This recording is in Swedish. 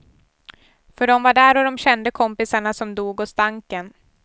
För dom var där och dom kände kompisarna som dog och stanken.